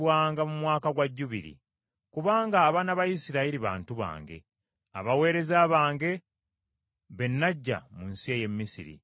Kubanga abaana ba Isirayiri bantu bange, abaweereza bange be naggya mu nsi ey’e Misiri. Nze Mukama Katonda wammwe.